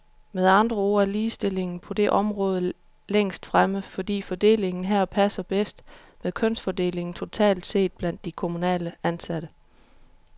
Med andre ord er ligestillingen på det område længst fremme, fordi fordelingen her passer bedst med kønsfordelingen totalt set blandt de kommunalt ansatte.